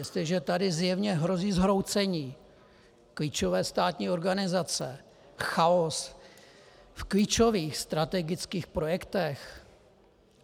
Jestliže tady zjevně hrozí zhroucení klíčové státní organizace, chaos v klíčových strategických projektech...